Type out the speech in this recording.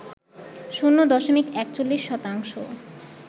শূন্য দশমিক ৪১ শতাংশ